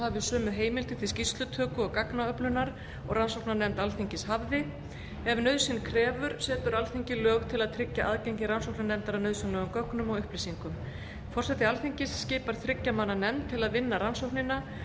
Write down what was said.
hafi sömu heimildir til skýrslutöku og gagnaöflunar og rannsóknarnefnd alþingis hafði ef nauðsyn krefur setur alþingi lög til að tryggja aðgengi rannsóknarnefndar að nauðsynlegum gögnum og upplýsingum forseti alþingis skipar þriggja manna nefnd til að vinna rannsóknina